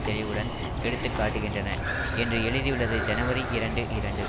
தெளிவுடன் எடுத்து காட்டுகின்றன என்று எழுதியுள்ளது ஜனவரி இரண்டு இரண்டு